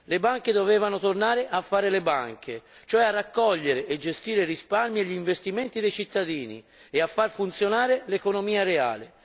Le banche dovevano tornare a fare le banche, cioè a raccogliere e gestire i risparmi e gli investimenti dei cittadini e a far funzionare l'economia reale.